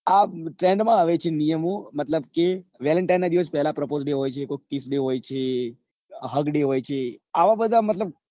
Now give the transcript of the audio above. આ trend માં આવે છે નિયમો મતલબ કે valentine નાં દિવસ પહેલા કોક prapose day હોય છે કોક kissday હોય છે hug day હોય છે અવ બધા મતલબ